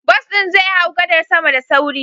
Bus ɗin zai hau gadar sama da sauri.